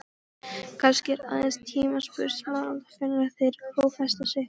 Kannski er aðeins tímaspursmál hvenær þeir klófesta mig?